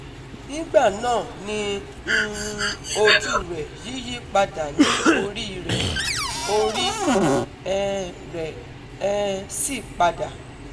Nigbana ni um oju rẹ yiyi pada ni ori rẹ, ori um re um si pada